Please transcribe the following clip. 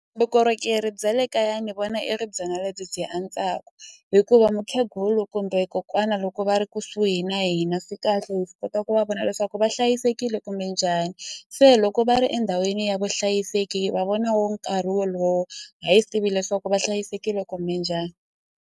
Vukorhokeri bya le kaya ni vona i ri byona lebyi byi antswaku hikuva mukhegulu kumbe kokwana loko va ri kusuhi na hina swi kahle hi kota ku va vona leswaku va hlayisekile kumbe njhani se loko va ri endhawini ya vuhlayiseki hi va vona wo nkarhi wolowo a hi swi tivi leswaku va hlayisekile kumbe njhani.